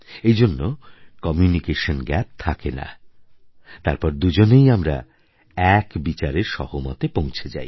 এইজন্য communication gap থাকে না তারপর দুজনেই আমারা এক বিচারের সহমতে পৌঁছে যাই